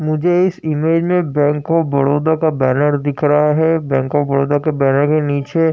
मुझे इस इमेज मे बैंक ऑफ बड़ोदा का बैनर दिख रहा है बैंक ऑफ बड़ोदा के बैनर के नीचे --